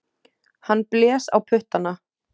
Hann blés á puttana.